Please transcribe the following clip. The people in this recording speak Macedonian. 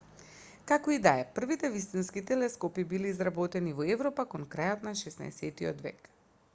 како и да е првите вистински телескопи биле изработени во европа кон крајот на 16-тиот век